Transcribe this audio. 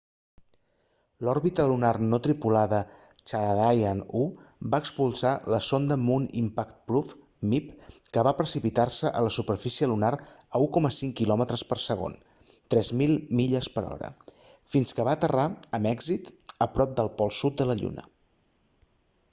l'òrbita lunar no tripulada chandrayaan-1 va expulsar la sonda moon impact probe mip que va precipitar-se a la superfície lunar a 1,5 quilòmetres per segon 3000 milles per hora fins que va aterrar amb èxit a prop del pol sud de la lluna